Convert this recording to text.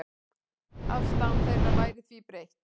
Afstaða þeirra væri því breytt.